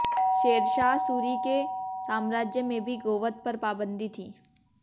शेरशाह सूरी के साम्राज्य में भी गोवध पर पाबंदी थी